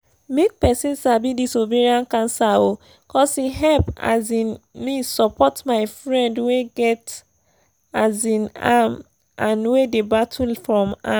make persin sabi this ovarian cancer oooo cos e help um me support my friend wey get um am and wey dey battle from am